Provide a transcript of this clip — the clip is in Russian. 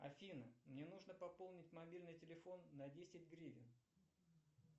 афина мне нужно пополнить мобильный телефон на десять гривен